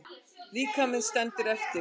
Líkaminn stendur eftir.